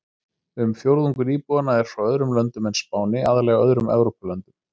Um fjórðungur íbúanna eru frá öðrum löndum en Spáni, aðallega öðrum Evrópulöndum.